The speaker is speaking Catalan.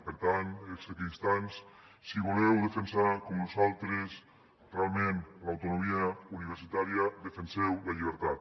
per tant els equidistants si voleu defensar com nosaltres realment l’autonomia universitària defenseu la llibertat